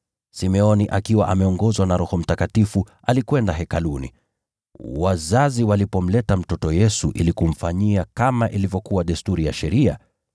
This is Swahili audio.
Simeoni, akiwa ameongozwa na Roho Mtakatifu, alikwenda Hekaluni. Wazazi walipomleta mtoto Yesu ili kumfanyia kama ilivyokuwa desturi ya Sheria,